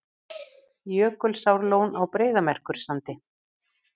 Jökulsárlón á Breiðamerkursandi.